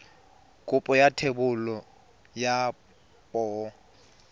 kopo ya thebolo ya poo